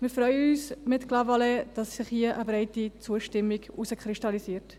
Wir freuen uns mit Clavaleyres, dass sich hier eine breite Zustimmung herauskristallisiert.